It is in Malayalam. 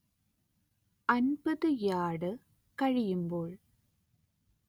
അന്‍പത്ത് യാർഡ് കഴിയുമ്പോൾ